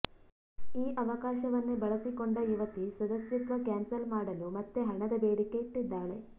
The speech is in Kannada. ಈ ಅವಕಾಶವನ್ನೇ ಬಳಸಿಕೊಂಡ ಯುವತಿ ಸದಸ್ಯತ್ವ ಕ್ಯಾನ್ಸಲ್ ಮಾಡಲು ಮತ್ತೆ ಹಣದ ಬೇಡಿಕೆ ಇಟ್ಟಿದ್ದಾಳೆ